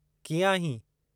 कीअं आहीं?